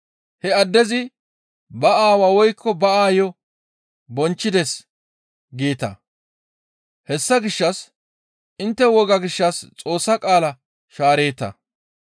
‹He addezi ba aawaa woykko ba aayo bonchchides› geeta; hessa gishshas intte woga gishshas Xoossa qaala shaareeta.